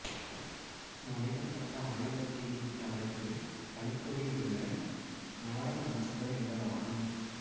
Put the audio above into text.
முனைவர் பட்ட ஆய்வறிக்கையின் தலைப்பு கலித்தொகையில் உள்ள நாடக அம்சங்கள் என்பதாகும்